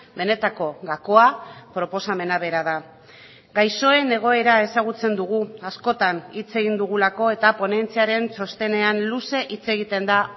benetako gakoa proposamena bera da gaixoen egoera ezagutzen dugu askotan hitz egin dugulako eta ponentziaren txostenean luze hitz egiten da